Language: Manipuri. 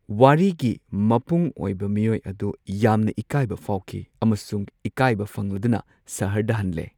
ꯋꯥꯔꯤꯒꯤ ꯃꯄꯨꯡ ꯑꯣꯏꯕ ꯃꯤꯑꯣꯢ ꯑꯗꯨ ꯌꯥꯝꯅ ꯏꯀꯥꯏꯕ ꯐꯥꯎꯈꯤ ꯑꯃꯁꯨꯡ ꯏꯀꯥꯏꯕ ꯐꯪꯂꯗꯨꯅ ꯁꯍꯔꯗ ꯍꯟꯂꯦ꯫